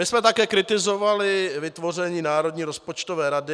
My jsme také kritizovali vytvoření Národní rozpočtové rady.